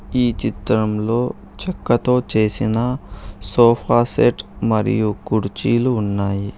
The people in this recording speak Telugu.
ఈ చిత్రంలో చెక్కతో చేసిన సోఫా సెట్ మరియు కుర్చీలు ఉన్నాయి.